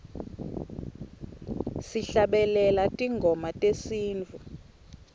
sihlabelela tingoma tesintfu